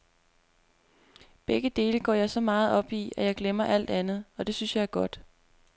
Begge dele går jeg så meget op i, at jeg glemmer alt andet, og det synes jeg er godt.